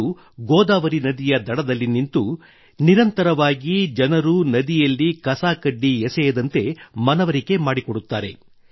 ಅವರು ಗೋದಾವರಿ ನದಿಯ ದಡದಲ್ಲಿ ನಿಂತು ನಿರಂತರವಾಗಿ ಜನರು ನದಿಯಲ್ಲಿ ಕಸ ಕಡ್ಡಿ ಎಸೆಯದಂತೆ ಮನವರಿಕೆ ಮಾಡಿಕೊಡುತ್ತಾರೆ